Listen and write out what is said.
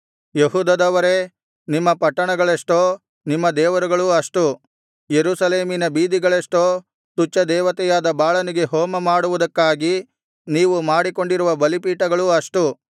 ಯೆಹೂದದವರೇ ನಿಮ್ಮ ಪಟ್ಟಣಗಳೆಷ್ಟೋ ನಿಮ್ಮ ದೇವರುಗಳೂ ಅಷ್ಟು ಯೆರೂಸಲೇಮಿನ ಬೀದಿಗಳೆಷ್ಟೋ ತುಚ್ಛ ದೇವತೆಯಾದ ಬಾಳನಿಗೆ ಹೋಮ ಮಾಡುವುದಕ್ಕಾಗಿ ನೀವು ಮಾಡಿಕೊಂಡಿರುವ ಬಲಿಪೀಠಗಳೂ ಅಷ್ಟು